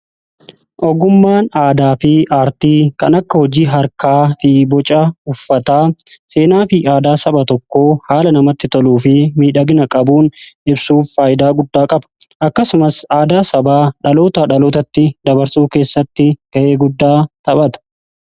ogummaan aadaa fi aartii kan akka hojii harkaa fi boca uffataa seenaa fi aadaa saba tokko haala namatti toluu fi miidhagina qabuun ibsuuf faayidaa guddaa qaba akkasumas aadaa sabaa dhaloota dhalootatti dabarsuu keessatti ga'ee guddaa taphata.